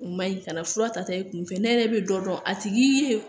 O ma ɲi kana fura ta i kun fɛ ne yɛrɛ bɛ dɔ dɔn a tigi ye